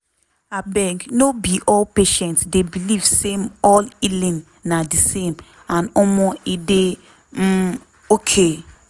abeg no be all patient dey believe same all healing na di same and omo e dey um okay.